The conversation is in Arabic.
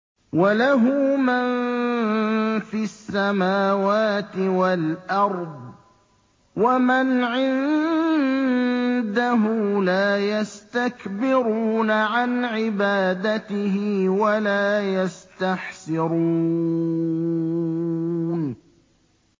وَلَهُ مَن فِي السَّمَاوَاتِ وَالْأَرْضِ ۚ وَمَنْ عِندَهُ لَا يَسْتَكْبِرُونَ عَنْ عِبَادَتِهِ وَلَا يَسْتَحْسِرُونَ